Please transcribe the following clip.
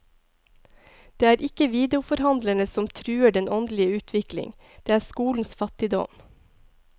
Det er ikke videoforhandlerne som truer den åndelige utvikling, det er skolens fattigdom.